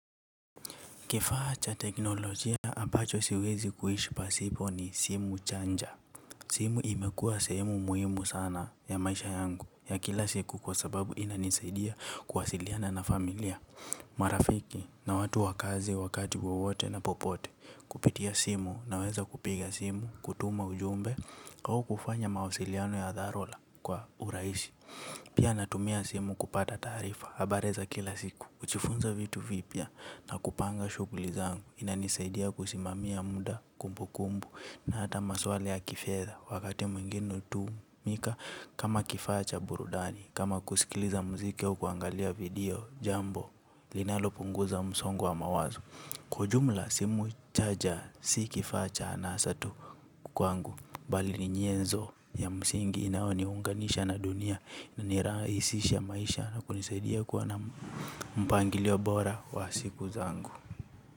Kifaa cha teknolojia ambacho siwezi kuishi pasipo ni simu janja simu imekuwa sehemu muhimu sana ya maisha yangu ya kila siku kwa sababu imanisaidia kuwasiliana na familia. Marafiki na watu wa kazi wakati wote na popote kupitia simu na weza kupiga simu, kutuma ujumbe au kufanya mawasiliano ya dharura kwa urahisi. Pia natumia simu kupata taarifa, habari za kila siku, kujifunza vitu vipya na kupanga shughuli zangu, inanisaidia kusimamia muda kumbu kumbu na hata maswala ya kifedha, wakati mwingine hutumika kama kifaa cha burudani, kama kusikiliza muziki au kuangalia video, jambo, linalo punguza msongo wa mawazo. Kwa ujumla simu janja si kifa acha anasa tu kwangu. Bali ni nyenzo ya msingi inayo niunganisha na dunia. Na inarahisisha maisha na kunisaidia kuwa na mpangili wa bora wa siku zangu.